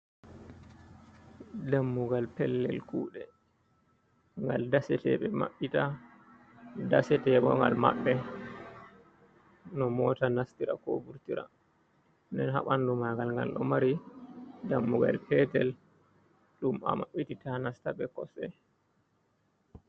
Dammugal pellel kuuɗe, ngal dasetee ɓe maɓɓita, dasetee bo ngal maɓɓe, no moota nastira koo vurtira. Nden ha ɓanndu maagal ngal ɗo mari dammugal peetel ɗum a maɓɓititta a nasta bee kosɗe.